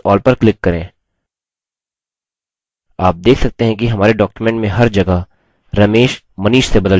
आप देख सकते हैं कि हमारे document में हर जगह ramesh manish से बदल चुका है